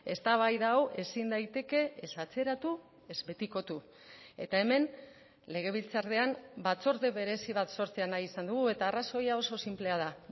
eztabaida hau ezin daiteke ez atzeratu ez betikotu eta hemen legebiltzarrean batzorde berezi bat sortzea nahi izan dugu eta arrazoia oso sinplea da